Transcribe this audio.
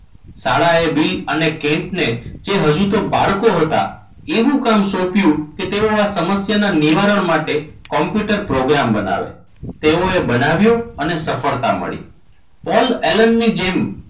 શાળાએ બિલ અને કેન્ટને જે હજુ તો બાળકો હતા. એવું કામ સોંપ્યું કે તેઓ આ સમસ્યાના નિવારણ માટે કોમ્પ્યુટર પ્રોગ્રામ બનાવે તેઓએ બનાવ્યો અને સફળતા મળી. પોલ એલન ની જેમ